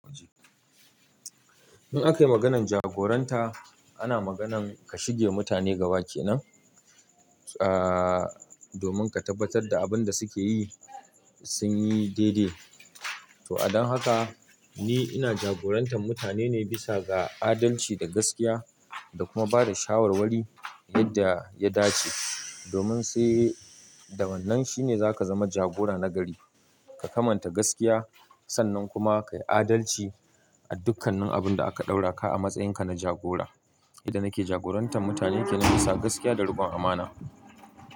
In aka yi maganan jagoranta, ana maganan ka shige ma mutane gaba kenan, aaah, domin ka tabbatar da abin da suke yi sun yi daidai. To a don haka, ni ina jagorantar mutane ne bisa ga adalci da gaskiya da kuma bada shawarwari yadda ya dace. Domin sai da wannan shi ne za ka zama jagora na gari. Ka kamanta gaskiya, sannan kuma ka yi adalci a dukkanin abun da aka ɗaura ka a matsayin ka na jagora. Inda nake jagorantar mutane ke nan bisa gaskiya da rukon amana.